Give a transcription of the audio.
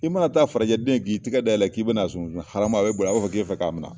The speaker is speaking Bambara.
I mana taa farajɛden ye bi, k'i tɛgɛ ka da yɛlɛ la k'i bɛna sunbun sunbun haamu a bɛ boli , b'a fɔ k'i bɛ fɛ k'a minɛ.